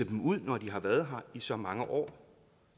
dem når de har været her i så mange år